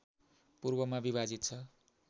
पूर्वमा विभाजित छ